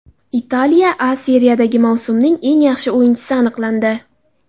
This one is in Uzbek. Italiya A Seriyasida mavsumning eng yaxshi o‘yinchisi aniqlandi.